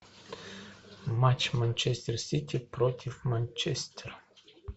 матч манчестер сити против манчестера